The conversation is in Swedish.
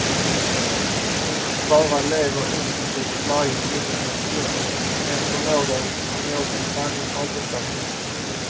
Hon bara lever intensivt varje timme och stund, en förmåga som jag i sanning avundas henne.